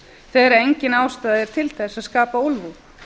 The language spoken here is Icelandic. þegar engin ástæða er til að skapa úlfúð